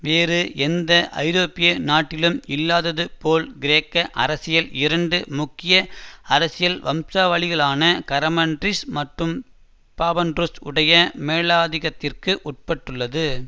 வேறு எந்த ஐரோப்பிய நாட்டிலும் இல்லாதது போல் கிரேக்க அரசியல் இரண்டு முக்கிய அரசியல் வம்சாவளிகளான கரமன்லிஸ் மற்றும் பாபாண்ட்ரூஸ் உடைய மேலாதிக்கத்திற்கு உட்பட்டுள்ளது